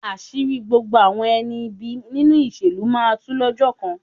Àṣírí gbogbo àwọn ẹni ibi nínú ìṣèlú máa tu lọ́jọ́ kan.